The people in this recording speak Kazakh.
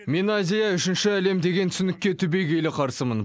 мен азия үшінші әлем деген түсінікке түбегейлі қарсымын